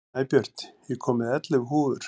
Snæbjört, ég kom með ellefu húfur!